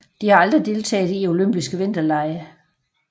De har aldrig deltaget i olympiske vinterlege